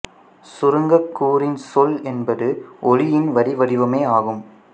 சுருங்கக் கூறின் சொல் என்பது ஒலியின் வரி வடிவமே ஆகும்